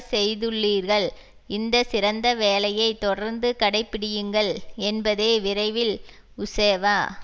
செய்துள்ளீர்கள் இந்த சிறந்த வேலையை தொடர்ந்து கடைப்பிடியுங்கள் என்பதே விரைவில் உசேவா